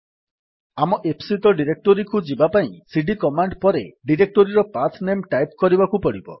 ଆମ ଇପ୍ସିତ ଡିରେକ୍ଟୋରୀକୁ ଯିବାପାଇଁ ସିଡି କମାଣ୍ଡ୍ ପରେ ଡିରେକ୍ଟୋରୀର ପାଥ୍ ନେମ୍ ଟାଇପ୍ କରିବାକୁ ପଡିବ